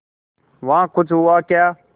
वहाँ कुछ हुआ क्या